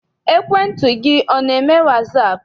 Ekwentị gị ana eme wasaapụ?